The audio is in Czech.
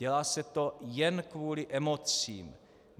Dělá se to jen kvůli emocím.